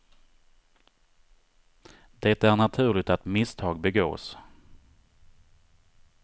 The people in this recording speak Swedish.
Det är naturligt att misstag begås.